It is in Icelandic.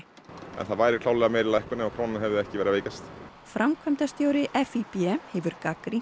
en það væri klárlega meiri lækkun ef krónan hefði ekki verið að veikjast framkvæmdastjóri FÍB hefur gagnrýnt